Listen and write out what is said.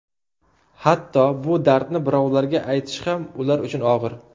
Hatto, bu dardni birovlarga aytish ham ular uchun og‘ir.